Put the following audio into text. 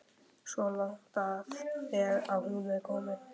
Svo langt er hún þó komin.